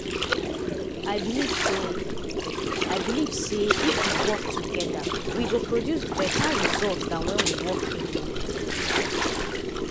i believe say i believe say if we work toggther we go produce better result than when we work alone.